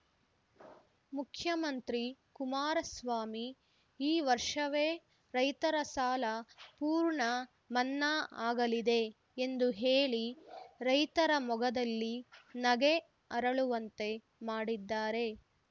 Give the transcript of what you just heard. ಮುಖ್ಯಮಂತ್ರಿ ಕುಮಾರಸ್ವಾಮಿ ಈ ವರ್ಷವೇ ರೈತರ ಸಾಲ ಪೂರ್ಣ ಮನ್ನಾ ಆಗಲಿದೆ ಎಂದು ಹೇಳಿ ರೈತರ ಮೊಗದಲ್ಲಿ ನಗೆ ಅರಳುವಂತೆ ಮಾಡಿದ್ದಾರೆ